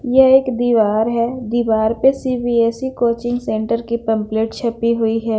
ये एक दीवार हैं दीवार पे सी_बी_एस_सी कोशिश सेंटर की पमपलेट छपी हुई हैं।